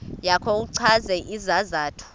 yakho uchaze isizathu